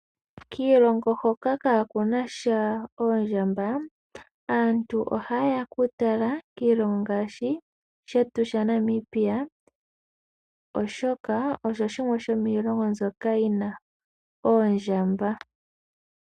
Kiilongo hoka kaakunasha oondjamba aantu oha yeya kutala kiilongo ngaashi shtu sha Namibia, oshoka osho shimwe shomiilongo mbyoka yina oondjamba.